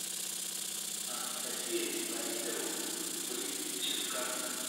анастасия владимировна бритченко